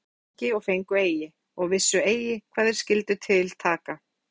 Þeir voru að lengi og fengu eigi, og vissu eigi hvað þeir skyldu til taka.